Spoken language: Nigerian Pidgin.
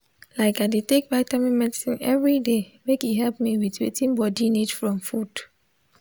like i dey take vitamin medicine everyday make e help me with wetin body need from food.